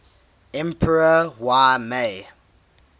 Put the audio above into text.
emperor y mei